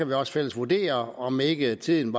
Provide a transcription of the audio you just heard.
vi også fælles vurdere om ikke tiden